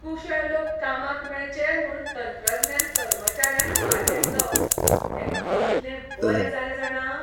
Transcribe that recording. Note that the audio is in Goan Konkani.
कुशळ लोक कामाक मेळचे म्हूण तंत्रज्ञान कर्मचाऱ्यान भार घेतलो तें कितलें बरें जालें जाणा!